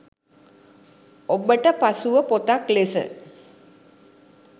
ඔබට පසුව පොතක් ලෙස